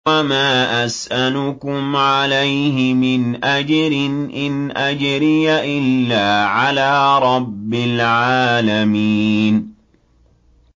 وَمَا أَسْأَلُكُمْ عَلَيْهِ مِنْ أَجْرٍ ۖ إِنْ أَجْرِيَ إِلَّا عَلَىٰ رَبِّ الْعَالَمِينَ